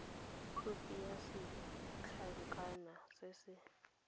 khopi ya setlankana se se